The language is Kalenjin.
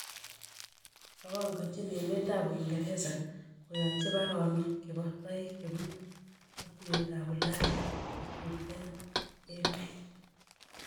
Mapanganchin emet ab Uingereza koyanchi paronok chebo toek chebunu katuyet ab Ulaya chechutunen emet